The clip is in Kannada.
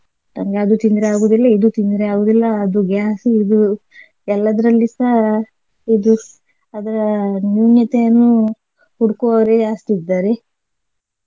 ನಂಗೆ ಅದು ತಿಂದ್ರೆ ಆಗುದಿಲ್ಲ ಇದು ತಿಂದ್ರೆ ಆಗುದಿಲ್ಲ ಅದು gas ಇದು ಎಲ್ಲದ್ರಲ್ಲಿಸ ಇದು ಅದರ ನ್ಯೂನ್ಯತೆಯನ್ನು ಹುಡುಕುವವರೆ ಜಾಸ್ತಿ ಇದ್ದಾರೆ.